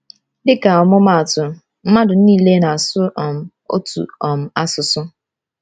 Dịka ọmụmaatụ, mmadụ niile na-asụ um otu um asụsụ.